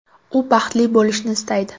U baxtli bo‘lishni istaydi.